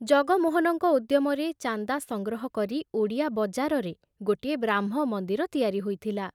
ଜଗମୋହନଙ୍କ ଉଦ୍ୟମରେ ଚାନ୍ଦା ସଂଗ୍ରହ କରି ଓଡ଼ିଆ ବଜାରରେ ଗୋଟିଏ ବ୍ରାହ୍ମ ମନ୍ଦିର ତିଆରି ହୋଇଥିଲା।